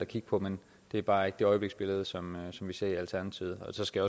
kigge på men det er bare ikke det øjebliksbillede som vi ser i alternativet så skal